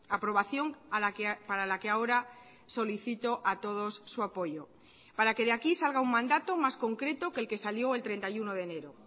aprobación para la que ahora solicito a todos su apoyo para que de aquí salga un mandato más concreto que el que salió el treinta y uno de enero